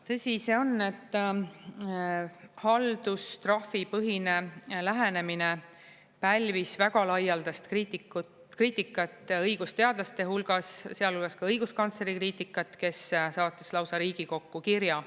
Tõsi see on, et haldustrahvipõhine lähenemine pälvis väga laialdast kriitikat õigusteadlaste hulgas, sealhulgas ka õiguskantsleri kriitikat, kes saatis lausa Riigikokku kirja.